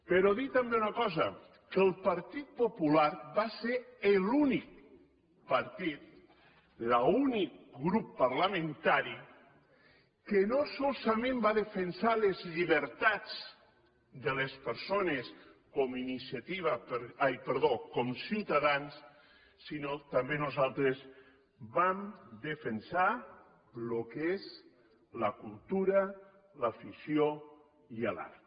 però dir també una cosa que el partit popular va ser l’únic partit l’únic grup parlamentari que no solament va defensar les llibertats de les persones com ciutadans sinó que també nosaltres vam defensar el que és la cultura l’afició i l’art